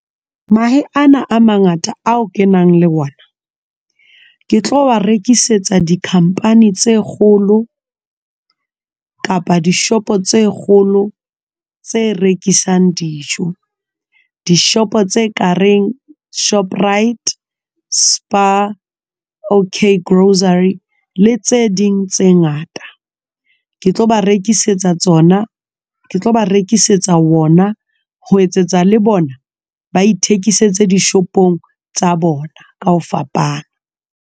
Mahe ana a mangata ao ke nang le ona ke tlo a rekisetsa di-company tse kgolo kapa dishopo tse kgolo tse rekisang dijo dishop tse kareng Shoprite, Spar, Okay Grocery le tse ding tse ngata ke tlo ba rekisetsa tsona, ke tlo ba rekisetsa wona ho etsetsa le bona ba ithekisetsa dishopong tsa bona ka ho fapana.